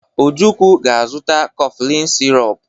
Ojukwu ga-azụta koflịn sirop.